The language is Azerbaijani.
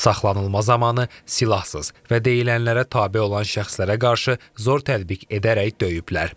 Saxlanılma zamanı silahsız və deyilənlərə tabe olan şəxslərə qarşı zor tətbiq edərək döyüblər.